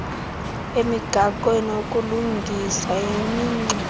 emigaqweni ukulungisa imingxunya